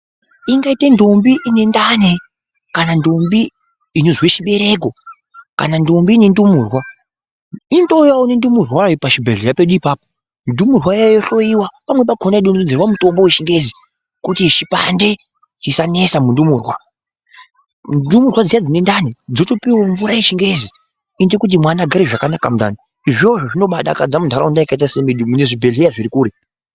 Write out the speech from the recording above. Ingaite ndombi inendani kana ndombi inozwe chibereko kana ndombi ine ndumurwa. Inotouyavo nendumurwayo pachibhedhleya pedu ipapo ndumurwawayo yohloiwa pamweni pako yodonhedzerwa mutombo vechingezi kuti zvipande zvisanesa mundumurwa. Ndumurwa dziya dzinendani dzotopuvavo mvura yechingezi inoita kuti mwana agare zvakanaka mundani. Izvozvo zvinobadakadza muntaraunda yakaita semedu mune zvibhedhleya zviri kure.